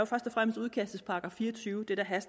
først og fremmest udkastets § fire og tyve det